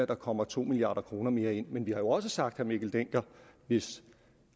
der kommer to milliard kroner mere ind men vi har jo også sagt mikkel dencker hvis